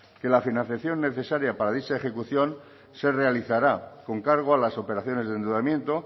que la financiación necesaria para dicha ejecución se realizará con cargo a las operaciones de endeudamiento